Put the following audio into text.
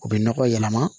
U bɛ nɔgɔ yɛlɛma